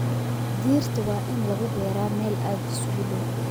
Dhirta waa in lagu beeraa meel aad isugu dhow